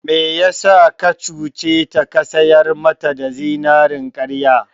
Me yasa ka cuce ta ka sayar mata da zinarin karya??